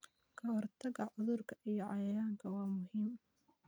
Ka-hortagga cudurrada iyo cayayaanka waa muhiim.